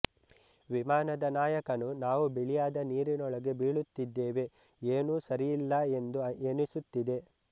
ವಿಮಾನದ ನಾಯಕನು ನಾವು ಬಿಳಿಯಾದ ನೀರಿನೊಳಗೆ ಬೀಳುತ್ತಿದ್ದೇವೆ ಏನೂ ಸರಿಯಿಲ್ಲ ಎಂದು ಎನಿಸುತ್ತಿದೆ